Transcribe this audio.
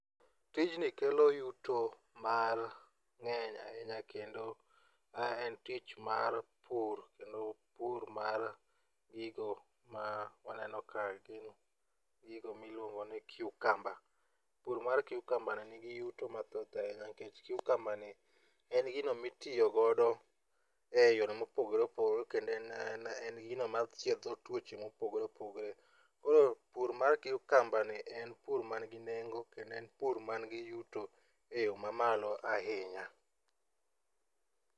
Tijni kelo yuto mang'eny ahinya kendo en tich mar pur kendo pur mar gigo ma waneno ka gin gigo miluongo ni cucumber. Pur mar cucumberni ni gi yuto mathoth ahinya nikech cucumberni en gino ma itiyogodo e yore mopogore opogore kendo en gino ma chiedho tuoche mopogore opogore. Koro pur mar cucumberni en pur man gi nengo kendo en pur man gi yuto e yo mamalo ahinya.